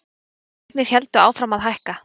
Fasteignir héldu áfram að hækka.